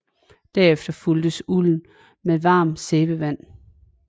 Derefter fugtes ulden med varmt sæbevand